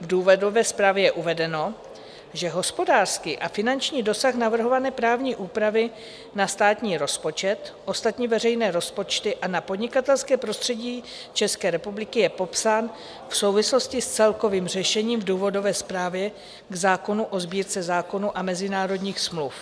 V důvodové zprávě je uvedeno, že hospodářský a finanční dosah navrhované právní úpravy na státní rozpočet, ostatní veřejné rozpočty a na podnikatelské prostředí České republiky je popsán v souvislosti s celkovým řešením v důvodové zprávě k zákonu o Sbírce zákonů a mezinárodních smluv.